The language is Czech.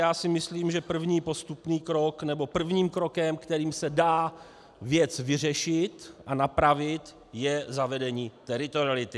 Já si myslím, že první postupný krok, nebo prvním krokem, kterým se dá věc vyřešit a napravit, je zavedení teritoriality.